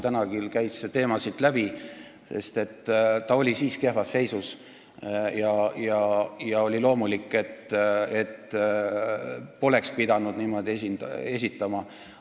Täna küll käis see teema siit läbi, et ta oli siis kehvas seisus ja see oli loomulik, et ta poleks pidanud siin niimoodi esinema.